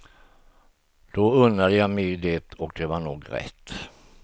Då unnande jag mig det och det var nog rätt.